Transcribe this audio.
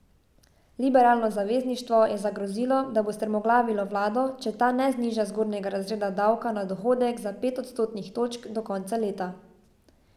Liberalno zavezništvo je zagrozilo, da bo strmoglavilo vlado, če ta ne zniža zgornjega razreda davka na dohodek za pet odstotnih točk do konca leta.